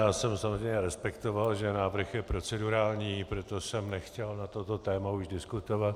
Já jsem samozřejmě respektoval, že návrh je procedurální, proto jsem nechtěl na toto téma už diskutovat.